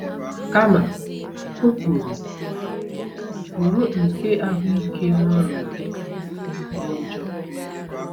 Kama, o kwuru: “Bụrụ nke ahụike n’ọrịa gị dị njọ.”